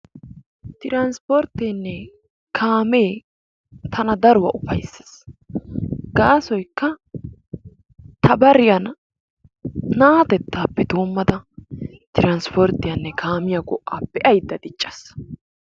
Tiraspporttenne kaamee tana daruwa ufayssees; gaasoykka ta bariyan naatettaappe doomada tiraspporttiyanne kaamiya go"aa be'ayda diccaas.